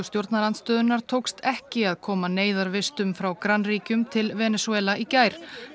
stjórnarandstöðunnar tókst ekki að koma frá grannríkjum til Venesúela í gær